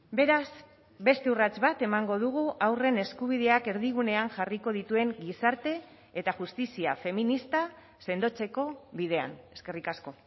beraz beste urrats bat emango dugu haurren eskubideak erdigunean jarriko dituen gizarte eta justizia feminista sendotzeko bidean eskerrik asko